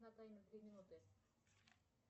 на таймер две минуты